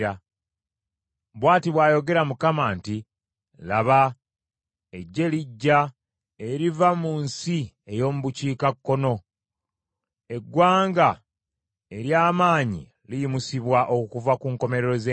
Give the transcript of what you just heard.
Bw’ati bw’ayogera Mukama , nti, “Laba, eggye lijja eriva mu nsi ey’omu bukiikakkono, eggwanga ery’amaanyi liyimusibwa okuva ku nkomerero z’ensi.